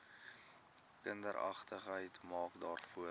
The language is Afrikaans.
kindergeregtigheid maak daarvoor